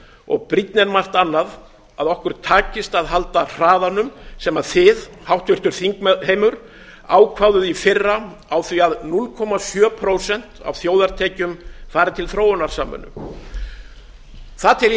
og brýnna en margt annað að okkur takist að halda hraðanum sem þið háttvirtur þingheimur ákváðuð í fyrra á því að núll komma sjö prósent af þjóðartekjum fari til þróunarsamvinnu það tel ég að sé